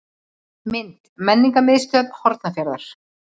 Mynd: Menningarmiðstöð Hornafjarðar.